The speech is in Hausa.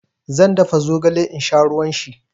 Zan dafa zogale in sha ruwan shi.